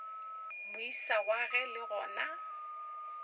moisa wa ge le gona